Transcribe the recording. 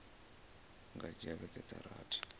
nga dzhia vhege dza rathi